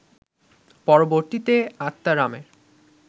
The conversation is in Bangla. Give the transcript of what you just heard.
পরবর্তীতে আত্মারামের